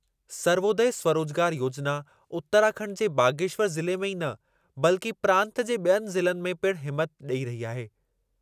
सर्वोदय स्वरोजगार योजना उतराखंड जे बागेश्वर ज़िले में ई न, बल्कि प्रांत जे ॿियनि ज़िलनि में पिणु हिमथ ॾेई रही आहे।